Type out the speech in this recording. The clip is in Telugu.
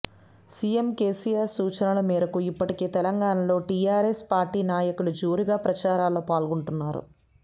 సిఎం కెసిఆర్ సూచలనల మేరకు ఇప్పటికే తెలంగాణలో టిఆర్ఎస్ పార్టీ నాయకులు జోరుగా ప్రచారాల్లో పాల్గొంటున్నారు